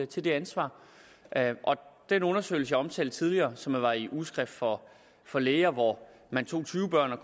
til det ansvar den undersøgelse jeg omtalte tidligere som var i ugeskrift for for læger hvor man tog tyve børn og